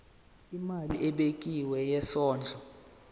imali ebekiwe yesondlo